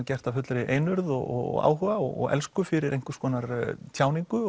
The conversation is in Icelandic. gert af fullri einurð og áhuga og dirfsku fyrir einhvers konar tjáningu